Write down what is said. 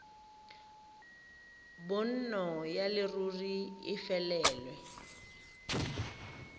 bonno ya leruri e felelwe